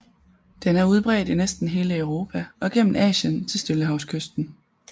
Den er udbredt i næsten hele Europa og gennem Asien til stillehavskysten